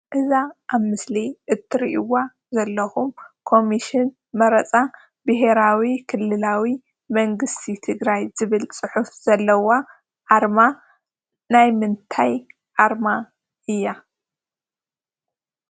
እዛ አብ ምሰሊ እትሪኡዋ ዘለኩም ኮምሽን መረፃ ብሔራዊ ክልላዊ መንግስቲ ትግራይ ዝብል ፅሑፉ ዘለዋ አርማ ናይ ምንታይ አርማ እያ?